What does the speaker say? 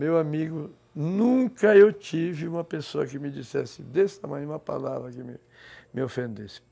Meu amigo, nunca eu tive uma pessoa que me dissesse desse tamanho uma palavra que me ofendesse.